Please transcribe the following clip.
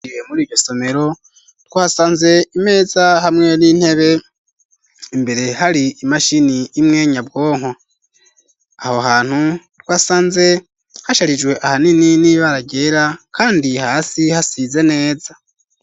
Twinjiye muriryo somero twasanze imeza hamwe n'intebe imbere hari imashini imwe nyabwonko aho hantu twasanze hasharijwe ahanini n'ibara ryera kandi hasi hasize neza.